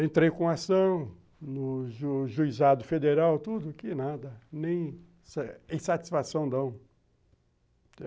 Entrei com ação no Juizado Federal, tudo que nada, nem insatisfação não.